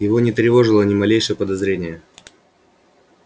его не тревожило ни малейшее подозрение